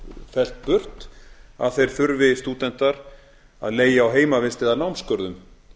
fellt burt að stúdentar þurfi að leigja á heimavist eða námsgörðum